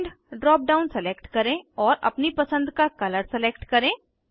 end drop down select करें और अपनी पसंद का कलर सलेक्ट करें